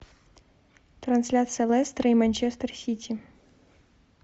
трансляция лестера и манчестер сити